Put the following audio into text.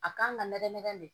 A kan ka nɛgɛ nɛgɛ de